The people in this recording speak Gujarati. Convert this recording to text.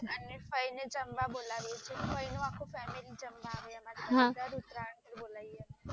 અને ફઈ ને જમવ બોલાવીએ છીએ અને ફઈ નું આખું કુટુંબજમવા આવે અમે દર ઉતરાયણ પર બોલાવીએ હા